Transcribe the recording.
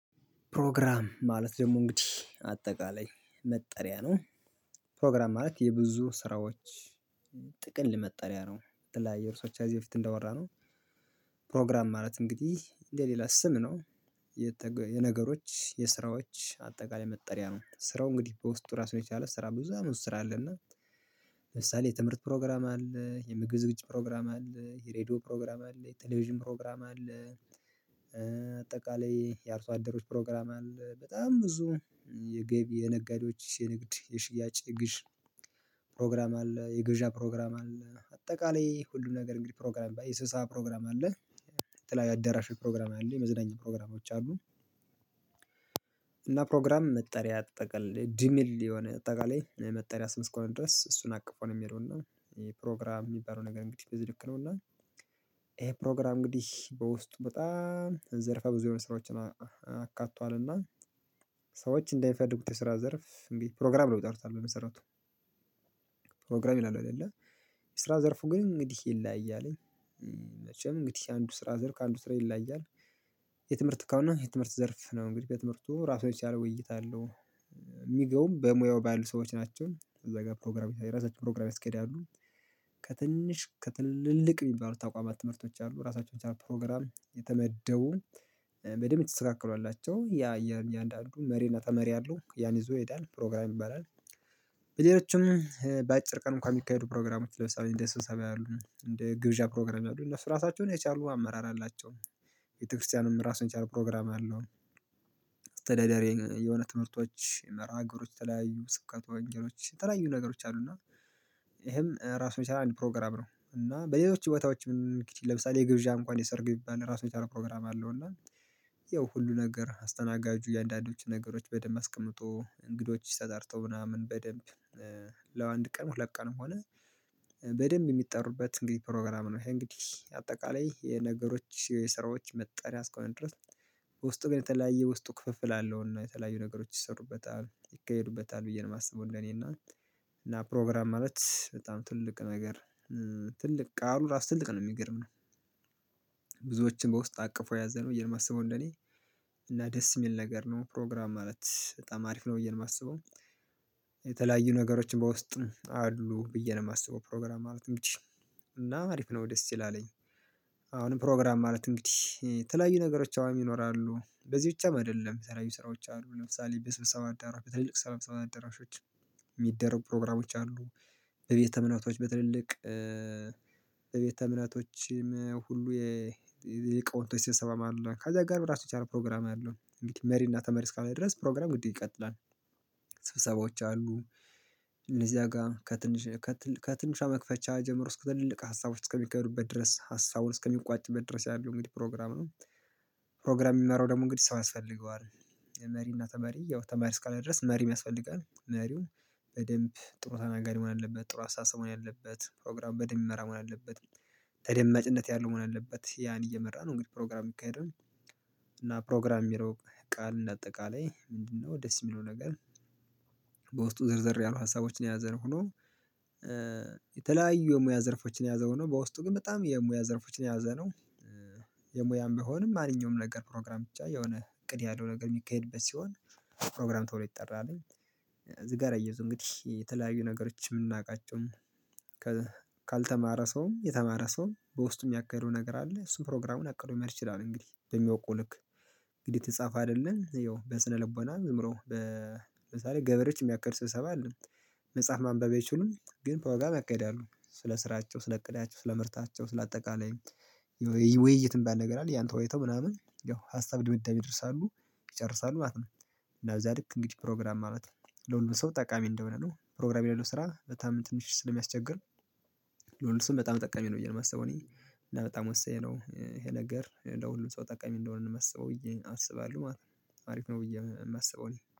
ፕሮግራም ማለት ደግሞ እንግዲህ አጠቃላይ መጠሪያ ነው ማለት የብዙ ስራዎች ጥቅል መጠሪያ ነው ትላያችሁ የብዙወቻችሁ ከዚህ በፊት እንዳወራነው ፕሮግራም ማለት እንግዲህ ለሌላ ስም ነው የነገሮች የስራዎች አጠቃላይ መጠሪያ ነው። ስራው እንግዲህ በውስጡ ራሱን የቻለ ስራ ብዙ አይነት ስራ አለ እና ለምሳሌ የትምህርት ፕሮግራም አለ የምግብ ዝግጅት ፕሮግራም አለ የሬዲዮ ፕሮግራም አለ የቴሌቪዥን ፕሮግራም አለ አጠቃላይ የአርሶአደሮች ፕሮግራም አለ በጣም ብዙ የገቢ የነጋዴዎች የንግድ የሽያጭ የግዥ ፕሮግራም አለ የግብዣ ፕሮግራም አለ አጠቃላይ ሁሉም ነገር እንግዲህ ፕሮግራም በስብሰባ ፕሮግራም አለ የተለያየ አዳራሽ ፕሮግራም አለ የመዝናኛ ፕሮግራሞች አሉ እና ፕሮግራም መጠሪያ ጥቅል ድሚል የሆነ አጠቃላይ መጠሪያ ስም እስከሆነ ድረስ እሱን አቅፎ ነው የሚሄደው እና ፕሮግራም የሚባለው ነገር እንግዲህ በዚህ ልክ ነው እና ይሄ ፕሮግራም እንግዲህ በውስጡ በጣም ዘርፋ ብዙ የሆኑ ስራዎችን አካቷልና ሰዎች እንደሚፈልጉት የስራ ዘርፍ እንዴ ፕሮግራም ብለው ይጠሩታል በመሰረቱ ፕሮግራም ይላሉ አይደለ የስራ ዘርፉ ግን እንግዲህ ይለያያል መቼም እንግዲህ አንዱ ስራ ዘርፍ ከአንዱ ስራ ይለያያል የትምህርት ከሆነ የትምህርት ዘርፍ ነው እንግዲህ በትምህርቱ ራሱን የቻለ ውይይት አለው የሚገቡም በሙያው ባሉ ሰዎች ናቸው እዛ ጋር ፕሮግራም የራሳቸዉን ፕሮግራም ይስኬዳሉ ከትንሽ ከትልልቅ የሚባሉት ተቋማት ትምህርቶች አሉ ራሳቸውን ብቻ ፕሮግራም የተመደቡ በደንብ የተስተካከሉ አላቸው ያ የእያንዳንዱን መሪ እና ተመሪ አለው ያን ይዞ ይሄዳል ፕሮግራም ይባላል በሌሎችም በአጭር ቀን እንኳን የሚካሄዱ ፕሮግራሞች ለምሳሌ እንደ ስብሰባ ያሉ እንደ ግብዣ ፕሮግራም ያሉ እነሱ ራሳቸውን የቻሉ አመራር አላቸው ቤተክርስቲያንም ራሱን የቻለ ፕሮግራም አለው አስተዳደሬን የሆነ ትምህርቶች መርሀግብሮች ተለያዩ ስብከተ ወንጌሎች የተለያዩ ነገሮች አሉ እና ይሄም ራሱ የቻለ አንድ ፕሮግራም ነው እና በሌሎች ቦታዎችም እንግድህ ለምሳሌ የግብዣ እንኳን የሰርግ ቢባል ራሱን የቻለ ፕሮግራም አለው እና ያው ሁሉ ነገር አስተናጋጁ እያንዳንዶቹን ነገሮች በደንብ አስቀምጦ እንግዶች ተጠርቶ ምናምን በደንብ ያው አንድ ቀን ሁለት ቀንም ሆነ በደንብ የሚጠሩበት እንግዲህ ፕሮግራም ነው ይሄ እንግዲህ አጠቃላይ የነገሮች ስራዎች መጠሪያ እስከሆነ ድረስ ውስጥ ግን የተለያየ ውስጡ ክፍፍል አለውና የተለያዩ ነገሮች ይሰሩበታል ይካሄዱበታል ብዬ ነው የማስበው እኔና እና ፕሮግራም ማለት በጣም ትልቅ ነገር ትልቅ ቃሉ ራሱ ትልቅ ነው የሚገርምህ ብዙዎችን በውስጥ አቅፎ የያዘ ነው ብየ ነው ማሰበው እንደኔ እና ደስ የሚል ነገር ነው ፕሮግራም ማለት በጣም አሪፍ ነው ብዬ የማስበው የተለያዩ ነገሮችን በውስጥም አሉ ብዬ ነው የማስበው ፕሮግራም ማለትም እንግድህ እና አሪፍ ነው ደስ ይላል። አሁንም ፕሮግራም ማለት እንግዲህ የተለያዩ ነገሮች አሁን ይኖራሉ በዚህ ብቻም አይደለም የተለያዩ ስራዎች አሉ ለምሳሌ በስብሰባ አዳራሾች ትልልቅ የስብሰባ አዳራሾች የሚደረጉ ፕሮግራሞች አሉ በቤተ እምነቶች በትልልቅ ቤተ እምነቶችም ሁሉ የሊቃውንቶች ስብሰባም አለ ከዚያ ጋር በራሱ የቻለ ፕሮግራም አለው መሪና ተመሪ እስከሆነ ድረስ ፕሮግራም ግድ ይቀጥላል ስብሰባዎች አሉ እነዚያ ጋር ከትንሽ ከትንሿ መክፈቻ ጀምሮ እስከ ትልልቅ ሀሳቦች እስከሚካሄዱበት ድረስ ሀሳቡን እስከሚቋጭበት ድረስ ያለው እንግዲህ ፕሮግራም ነው ፕሮግራም የሚመራው ደግሞ እንግዲህ ሰው ያስፈልገዋል መሪና ተመሪ ያው ተመሪ እስካለ ድረስ መሪም ያስፈልጋል መሪው በደንብ ጥሩ ተናጋሪ መሆን አለበት ጥሩ አስተሳሰብ መሆን አለበት ፕሮግራም በደንብ የሚመራ መሆን አለበት ተደመጭነት ያለው መሆን አለበት ያን እየመራ ነው እንግዲህ ፕሮግራም የሚካሄደው እና ፕሮግራም የሚለው ቃል እንደ አጠቃላይ ምንድነው ደስ የሚለው ነገር በውስጡ ዘርዘር ያሉ ሀሳቦችን የያዘ ሆኖ የተለያዩ የሙያ ዘርፎችን የያዘ ሆኖ በውስጡ ግን በጣም የሙያ ዘርፎችን የያዘ ነው የሙያም ቢሆንም ማንኛውም ነገር ፕሮግራም ብቻ የሆነ እቅድ ያለው ነገር የሚካሄድበት ሲሆን ፕሮግራም ተብሎ ይጠራል። እዚህ ጋር አያይዞ እንግዲህ የተለያዩ ነገሮች የምናውቃቸውም ካልተማረ ሰውም የተማረ ሰውም በውስጡ የሚያካሂደው ነገር አለ እሱን ፕሮግራሙን አቅዶ መሄድ ይችላል እንግዲህ በሚያውቀው ልክ እንግዲህ የተጻፈ አይደለም ያው በስነልቦና ዝምብሎ በምሳሌ ገበሬዎች የሚያካሂዱት ስብሰባ አለ። መጽሐፍ ማንበብ አይችሉም ግን ፕሮግራም ያካሄዳሉ ስለ ስራቸው ስለ እቅዳቸው ስለ ምርታቸው ስለ አጠቃላይ ውይይት የሚባል ነገር አለ ያን ተወያይተው ምናምን ያው ሀሳብ ድምዳሜ ይደርሳሉ ይጨርሳሉ ማለት ነው። እና በዚያ ልክ እንግዲህ ፕሮግራም ማለት ለሁሉም ሰው ጠቃሚ እንደሆነ ነው ፕሮግራም የሌለው ስራ በጣም ትንሽ ስለሚያስቸግር ለሁሉም ሰው በጣም ጠቀሚ ነው ብዬ ነው የማስበው እኔ እና በጣም ወሳኝ ነው ይሄ ነገር ለሁሉም ሰው ጠቃሚ እንደሆነ ነው የማስበው ብዬ አስባለሁ ማለት ነው አሪፍ ነው ብዬ የማስበው እኔ